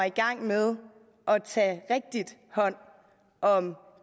i gang med at tage rigtigt hånd om